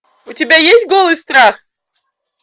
у тебя есть голый страх